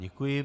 Děkuji.